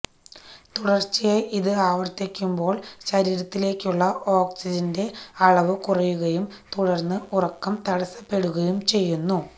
തുടര്ച്ചയായി ഇത് ആവര്ത്തിയ്ക്കുമ്പോള് ശരീരത്തിലേക്കുള്ള ഓക്സിജന്റെ അളവ് കുറയുകയും തുടര്ന്ന് ഉറക്കം തടസ്സപ്പെടുകയും ചെയ്യുന്നു